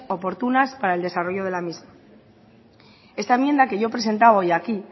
oportunas para el desarrollo de la misma esta enmienda que yo presentaba hoy aquí